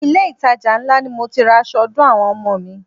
Ilé itàjà ńlá ni mo ti ra aṣọ ọdún àwọn ọmọ mi.